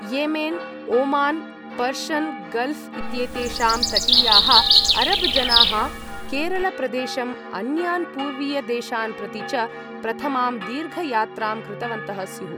येमेन् Oman Persian Gulf इत्येतेषां तटीयाः Arab जनाः केरल प्रदेशम् अन्यान् पूर्वीय देशान् प्रति च प्रथमां दीर्घ यात्रां कृतवन्तः स्युः।